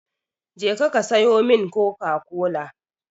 Je ka sayo min coca-cola!